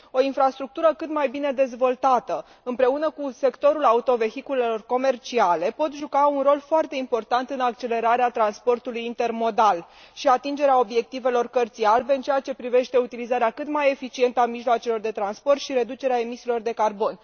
O infrastructură cât mai bine dezvoltată, împreună cu sectorul autovehiculelor comerciale, pot juca un rol foarte important în accelerarea transportului intermodal și în atingerea obiectivelor Cărții albe în ceea ce privește utilizarea cât mai eficientă a mijloacelor de transport și reducerea emisiilor de carbon.